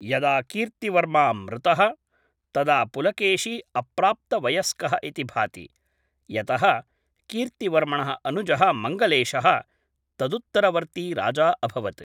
यदा कीर्त्तिवर्मा मृतः, तदा पुलकेशी अप्राप्तवयस्कः इति भाति, यतः कीर्त्तिवर्मणः अनुजः मङ्गलेशः तदुत्तरवर्ती राजा अभवत्।